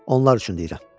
Onlar üçün deyirəm.